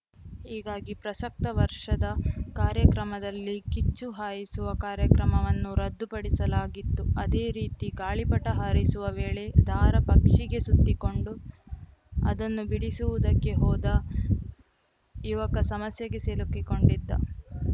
ಹೀಗಾಗಿ ಪ್ರಸಕ್ತ ವರ್ಷದ ಕಾರ್ಯಕ್ರಮದಲ್ಲಿ ಕಿಚ್ಚು ಹಾಯಿಸುವ ಕಾರ್ಯಕ್ರಮವನ್ನು ರದ್ಧು ಪಡಿಸಲಾಗಿತ್ತು ಅದೇ ರೀತಿ ಗಾಳಿಪಟ ಹಾರಿಸುವ ವೇಳೆ ದಾರ ಪಕ್ಷಿಗೆ ಸುತ್ತಿಕೊಂಡು ಅದನ್ನು ಬಿಡಿಸುವುದಕ್ಕೆ ಹೋದ ಯುವಕ ಸಮಸ್ಯೆಗೆ ಸಿಲುಕಿಕೊಂಡಿದ್ದ